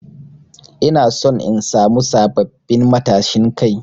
Ina son in samu sabbabin matashin Kai.